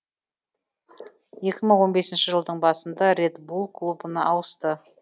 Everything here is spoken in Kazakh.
екі мың он бесінші жылдың басында ред булл клубын ауысты